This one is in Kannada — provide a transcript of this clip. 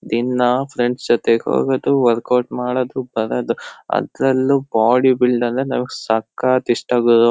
ದಿನಾ ಫ್ರೆಂಡ್ಸ್ ಜೊತೆಗ್ ಹೋಗೋದು ವರ್ಕೌಟ್ ಮಾಡೋದು ಬರೋದು ಅದ್ರಲ್ಲೂ ಬಾಡಿ ಬಿಲ್ಡ್ ಅಂದ್ರೆ ನನಿಗ್ ಸಕ್ಕತ್ ಇಷ್ಟ ಗುರು.